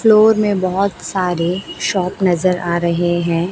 Floor में बहोत सारे शॉप नजर आ रहे हैं।